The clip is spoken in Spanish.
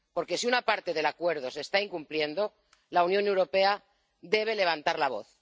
Porque, si una parte del Acuerdo se está incumpliendo, la Unión Europea debe levantar la voz.